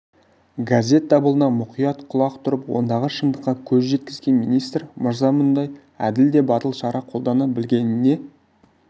газет дабылына мұқият құлақ тұрып ондағы шындыққа көз жеткізген министр мырза мұндай әділ де батыл шара қолдана білгеніне